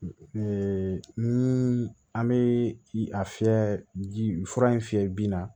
ni an bɛ a fiyɛ ji fura in fiyɛ bin na